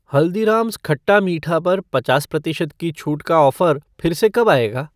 हल्दीराम्ज़ खट्टा मीठा पर पचास प्रतिशत की छूट का ऑफ़र फिर से कब आएगा?